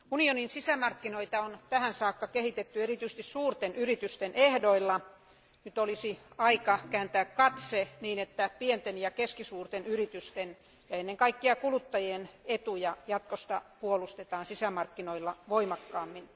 Arvoisa puhemies, Euroopan unionin sisämarkkinoita tähän saakka on kehitetty erityisesti suurten yritysten ehdoilla. Nyt olisi aika kääntää katse, niin että pienten ja keskisuurten yritysten ja ennen kaikkea kuluttajien etuja jatkossa puolustetaan sisämarkkinoilla voimakkaammin.